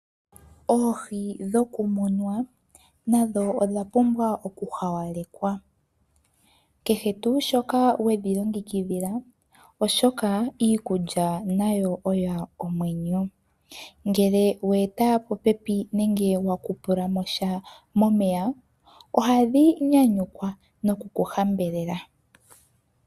Oohi dhokumunwa nadho odha pumbwa oku hawalekwa kehe tuu shoka we dhi longekidhila oshoka, iikulya nayo oyo omwenyo. Ngele we eta po pepi nenge wa kupula mo sha momeya, oha dhi nyanyukwa noku ku hambelela.